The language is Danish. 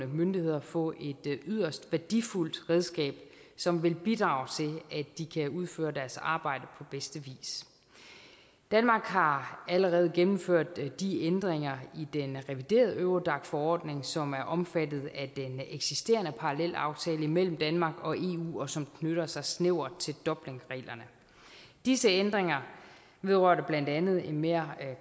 myndigheder få et yderst værdifuldt redskab som vil bidrage til at de kan udføre deres arbejde på bedste vis danmark har allerede gennemført de ændringer i den reviderede eurodac forordning som er omfattet af den eksisterende parallelaftale mellem danmark og eu og som knytter sig snævert til dublinreglerne disse ændringer vedrørte blandt andet en mere